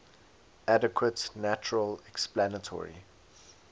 adequate natural explanatory